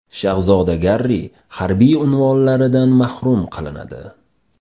Shahzoda Garri harbiy unvonlaridan mahrum qilinadi.